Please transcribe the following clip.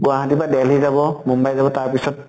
গুৱাহাটীৰ পৰা delhi যাব, মুম্বাই গৈ তাৰ পিছত